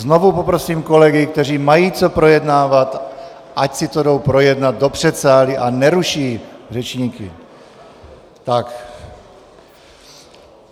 Znovu poprosím kolegy, kteří mají co projednávat, ať si to jdou projednat do předsálí a neruší řečníky.